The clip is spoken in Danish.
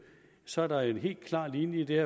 så er der en helt klar linje i det